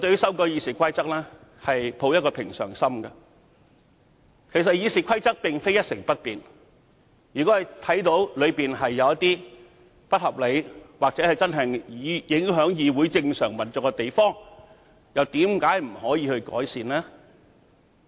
事實上，《議事規則》並非一成不變，如果發現有不合理或會影響議會正常運作之處，為何不能作出改善呢？